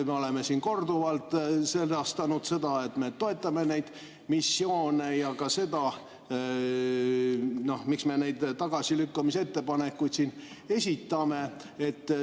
Me oleme siin korduvalt sedastanud, et me toetame neid missioone, ja ka seda, miks me neid tagasilükkamise ettepanekuid siin esitame.